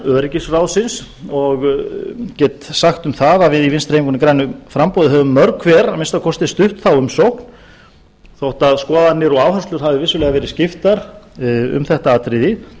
öryggisráðsins og get sagt um það að við í vinstri hreyfingunni grænu framboði höfum mörg hver að minnsta kosti stutt þá umsókn þótt skoðanir og áherslur hafi vissulega verið skiptar um þetta atriði